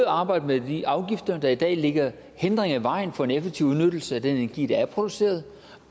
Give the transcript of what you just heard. arbejde med de afgifter der i dag lægger hindringer i vejen for en effektiv udnyttelse af den energi der er produceret